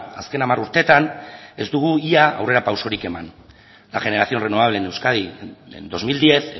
azken hamar urteetan ez dugu ia aurrerapausorik eman la generación renovable en euskadi en dos mil diez